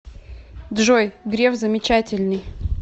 джой греф замечательный